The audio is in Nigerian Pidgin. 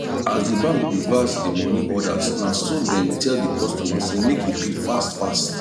as d bank reverse the money order naso dem tell the customer say make e pay fast fast